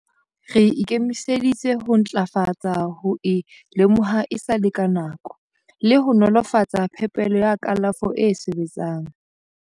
Re ikemiseditse ho ntlafatsa ho e lemoha esale ka nako le ho nolofatsa phepelo ya kalafo e sebetsang.